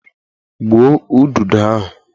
Gbuo udodo ahụ!